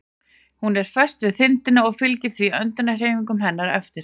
Hún er föst við þindina og fylgir því öndunarhreyfingum hennar eftir.